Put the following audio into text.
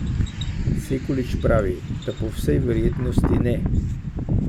Sekulič pravi, da po vsej verjetnosti ne.